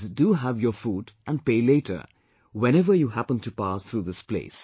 Please, do have your food and pay later whenever you happen to pass through this place